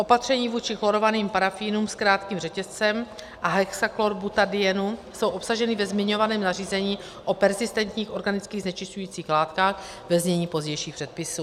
Opatření vůči chlorovaným parafínům s krátkým řetězcem a hexachlorobutadienu jsou obsažena ve zmiňovaném nařízení o perzistentních organických znečišťujících látkách ve znění pozdějších předpisů.